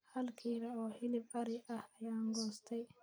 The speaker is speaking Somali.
Hal kiilo oo hilib ari ah ayaan goostay